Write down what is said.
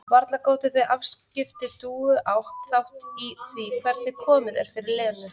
Varla gátu þau afskipti Dúu átt þátt í því hvernig komið er fyrir Lenu?